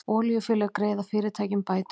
Olíufélög greiða fyrirtækjum bætur